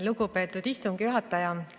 Lugupeetud istungi juhataja!